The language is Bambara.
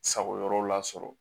Sago yɔrɔ la sɔrɔ